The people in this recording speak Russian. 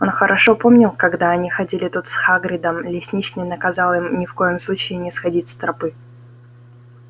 он хорошо помнил когда они ходили тут с хагридом лесничий наказал им ни в коем случае не сходить с тропы